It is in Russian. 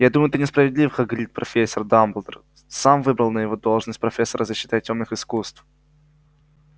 я думаю ты несправедлив хагрид профессор дамблдор сам выбрал его на должность профессора защиты от тёмных искусств